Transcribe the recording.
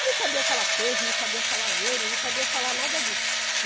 Eu não sabia falar peso, não sabia falar euro, não sabia falar nada disso.